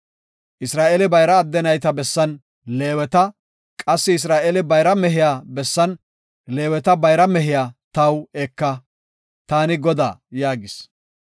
Isra7eele bayra adde nayta bessan Leeweta, qassi Isra7eele bayra mehiya bessan Leeweta bayra mehiya taw eka. Taani Godaa” yaagis.